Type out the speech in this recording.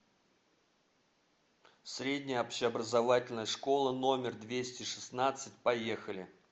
средняя общеобразовательная школа номер двести шестнадцать поехали